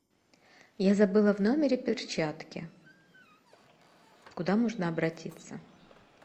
я забыла в номере перчатки куда можно обратиться